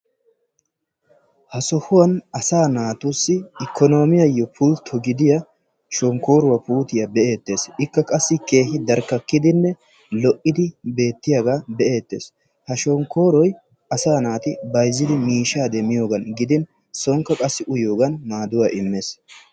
ha sohuwan asaa natussi ikoonomiyassi pulto gidiya shonkooruwa. ikka qassi keehi darkakkidi betees. ha shonkkoroy uyanaassi maadees.